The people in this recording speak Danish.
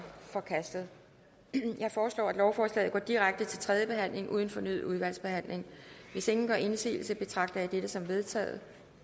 forkastet jeg foreslår at lovforslaget går direkte til tredje behandling uden fornyet udvalgsbehandling hvis ingen gør indsigelse betragter jeg dette som vedtaget